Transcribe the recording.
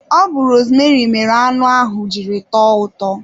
Ọ bu rosmeri mere anụ ahụ jiri tọọ ụtọ